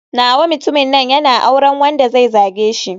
Nawa mutumin nan yana auren wanda zai zage shi.